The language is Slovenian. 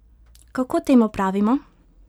Kako temu pravimo?